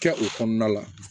Kɛ o kɔnɔna la